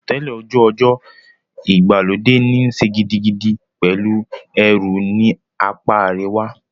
Àsotẹ́lẹ̀ ojú ọjọ́ ìgbàlódé níí ṣe gidigidi pẹ̀lú ẹ̀rùn ní apá àríwá.